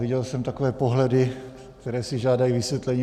Viděl jsem takové pohledy, které si žádají vysvětlení.